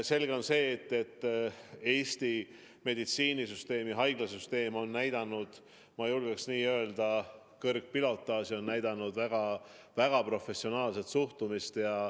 Selge on see, et Eesti meditsiinisüsteem, haiglasüsteem on näidanud, ma julgeks öelda, kõrgpilotaaži, on näidanud väga professionaalset suhtumist.